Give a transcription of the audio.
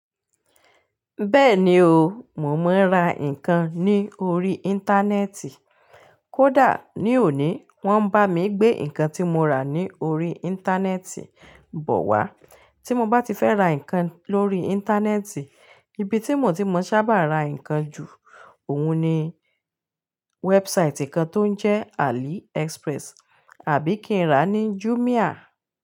Bẹ́ẹ̀ni o, mo máa ń ra nǹkan ní orí Íńtánẹ́ẹ̀tì. Kódà ní òní, wọ́n ń bá mi gbé nǹkan tí mo rà ní orí Íńtánẹ́ẹ̀tì bọ̀ wá. Tí mo bá ti fẹ́ ra nǹkan lórí Íńtánẹ́ẹ̀tì, ibi tí mo ti máa ń sábà ra nǹkan ju òun ni wẹ́ẹ̀bùsàìtì kan tó ń jẹ́ Ali Express àbí kí n rà ní Jumia.